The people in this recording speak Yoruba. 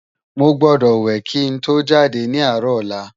Mó gbòdò wè ki n tó jádé ni árò òlà